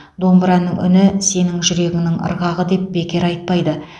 домбыраның үні сенің жүрегіңнің ырғағы деп бекер айтпайды